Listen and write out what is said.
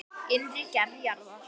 Innri gerð jarðar